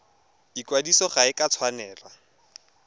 ikwadiso ga e a tshwanela